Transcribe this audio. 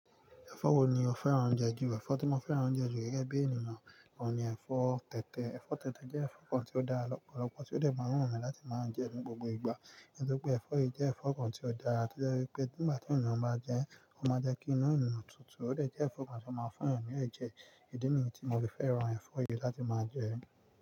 Ẹ̀fọ́ wo ni o fẹ́ràn je jù? Ẹ̀fọ́ tí mo fẹ́ràn je ju gẹ́gẹ́ bí ènìyàn kàn ní ẹ̀fọ́ tẹ̀tẹ̀. Ẹ̀fọ́ tẹ̀tẹ̀ jẹ́ ẹ̀fọ́ kan tí ó dára lọ́pọ̀lọpọ̀ tí ó dè máa wu mi láti máa jẹ ní gbogbo ìgbà. Nítorí pé ẹ̀fọ́ yìí jẹ́ ẹ̀fọ́ kan tí ó dára tí ó jẹ́ wípé nígbà tí ènìyàn bá jẹ ẹ́, ó máa jẹ́ kí inu ènìyàn tutù. Ó dè jẹ́ ẹ̀fọ́ kan tí ó máa ń fún èeyàn ní ẹ̀jẹ̀. Idi ni yii tí mo fi fẹ́ràn ẹ̀fọ́ yìí láti máa jẹ ẹ́.